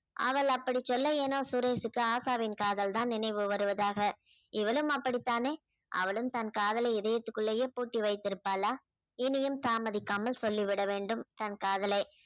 அவள் அப்படிச் சொல்ல ஏனோ சுரேஷுக்கு ஆஷாவின் காதல்தான் நினைவு வருவதாக இவளும் அப்படித்தானே அவளும் தன் காதல இதயத்துக்குள்ளேயே பூட்டி வைத்திருப்பாளா இனியும் தாமதிக்காமல் சொல்லிவிட வேண்டும் தன் காதலை